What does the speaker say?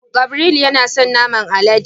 Gabriel yana son naman alade.